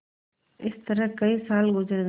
इस तरह कई साल गुजर गये